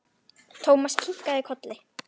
Thomas kinkaði kolli.